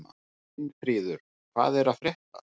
Finnfríður, hvað er að frétta?